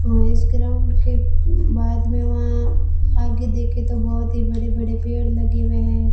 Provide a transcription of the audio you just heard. हमें इस ग्राउंड के बाद में वहां आगे देखे तो बहुत ही बड़े बड़े पेड़ लगे हुए है।